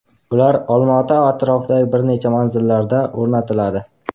Ular Olmaota atrofidagi bir necha manzillarda o‘rnatiladi.